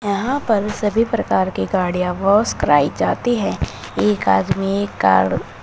यहां पर सभी प्रकार की गाड़ियां वाश कराई जाती है एक आदमी कार --